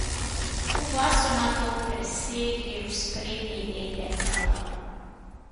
Oba so nato presedli v sprednji del letala.